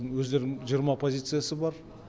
өздерінің жиырма позициясы бар